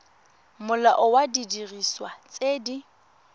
molao wa didiriswa tse di